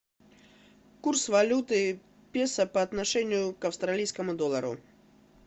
курс валюты песо по отношению к австралийскому доллару